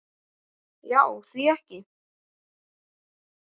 Já því ekki það?